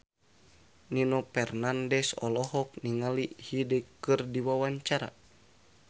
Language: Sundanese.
Nino Fernandez olohok ningali Hyde keur diwawancara